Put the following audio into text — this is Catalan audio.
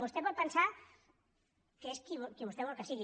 vostè pot pensar que és qui vostè vol que sigui